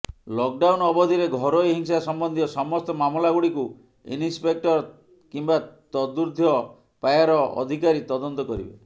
lockdown ଅବଧିରେ ଘରୋଇ ହିଂସା ସମ୍ବନ୍ଧୀୟ ସମସ୍ତ ମାମଲାଗୁଡ଼ିକୁ ସବଇନ୍ସପେକ୍ଟର କିମ୍ବା ତଦୁର୍ଦ୍ଧ୍ୱ ପାହ୍ୟାର ଅଧିକାରୀ ତଦନ୍ତ କରିବେ